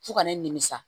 Fo ka ne nimisi